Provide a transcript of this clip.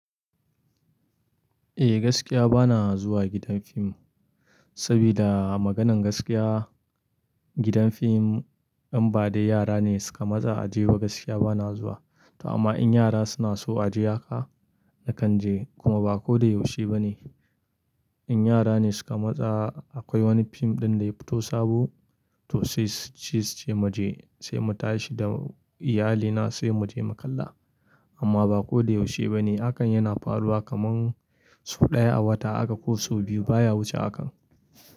Eh gaskiya bana zuwa gidan fim, saboda maganan gaskiya gidan fim in ba dai yara ne suka matsa a je ba gaskiya bana zuwa. To amma in yara suna so a je haka, na kan je kuma ba ko da yaushe ba ne. In yara ne suka matsa akwai wani fim ɗin da ya fito sabo, to sai c-c-ce ce mu je sai mu tashi da iyalina sai mu je mu kalla. Amma ba ko da yaushe ba ne, hakan yana faruwa kaman so ɗaya a wata aka ko so biyu baya wuce hakan.